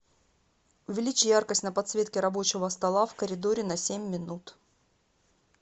увеличь яркость на подсветке рабочего стола в коридоре на семь минут